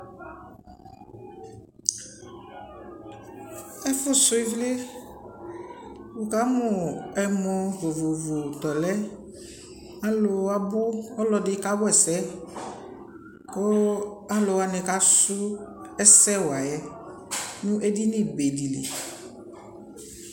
Ɛfu sui vli Wu ka mu ɛmɔ vovovo tɔ lɛAlu wa bu Ɔlɔ di ka wɛ sɛ, ku alu wani ka su ɛsɛ wa yɛ nu edini be di li